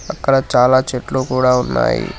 అక్కడ చాలా చెట్లు కూడా ఉన్నాయి.